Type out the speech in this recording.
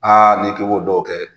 Aa n'i k'i b'o dɔw kɛ